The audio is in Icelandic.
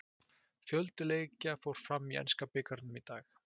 Fjöldi leikja fór fram í enska bikarnum í dag.